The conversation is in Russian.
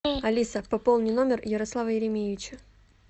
алиса пополни номер ярослава еремеевича